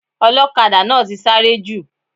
Ọlọ́kadà náà ti sáré jù.